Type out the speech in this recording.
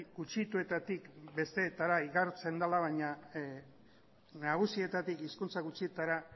gutxituetatik besteetara igarotzen dela baina nagusietatik hizkuntz gutxituetara